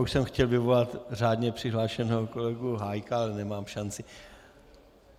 Už jsem chtěl vyvolat řádně přihlášeného kolegu Hájka, ale nemám šanci.